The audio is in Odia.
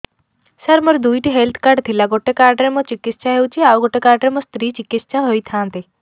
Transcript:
ସାର ମୋର ଦୁଇଟି ହେଲ୍ଥ କାର୍ଡ ଥିଲା ଗୋଟେ କାର୍ଡ ରେ ମୁଁ ଚିକିତ୍ସା ହେଉଛି ଆଉ ଗୋଟେ କାର୍ଡ ରେ ମୋ ସ୍ତ୍ରୀ ଚିକିତ୍ସା ହୋଇଥାନ୍ତେ